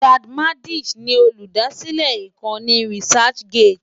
Ijad Madisch ni olùdásílẹ̀ ìkànnì researchgate.